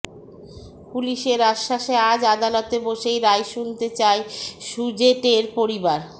পুলিশের আশ্বাসে আজ আদালতে বসেই রায় শুনতে চায় সুজেটের পরিবার